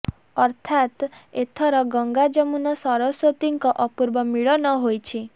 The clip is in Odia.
ଅର୍ଥାତ ଏଥର ଗଙ୍ଗା ଯମୁନା ସରସ୍ୱତୀଙ୍କ ଅପୁର୍ବ ମିଳନ ହୋଇଛି